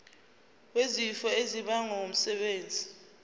wesifo esibagwe ngumsebenzi